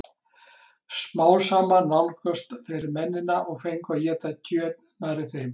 Smám saman nálguðust þeir mennina og fengu að éta kjöt nærri þeim.